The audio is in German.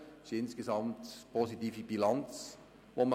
Insgesamt kann man eine positive Bilanz ziehen.